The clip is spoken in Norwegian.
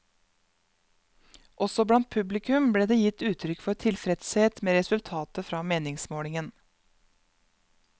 Også blant publikum ble det gitt uttrykk for tilfredshet med resultatet fra meningsmålingen.